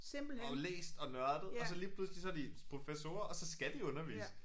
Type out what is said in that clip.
Og læst og nørdet og så lige pludselig så de professorer og så skal de undervise